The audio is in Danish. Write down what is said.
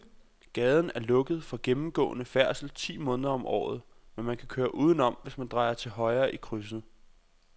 Gaden er lukket for gennemgående færdsel ti måneder om året, men man kan køre udenom, hvis man drejer til højre i krydset.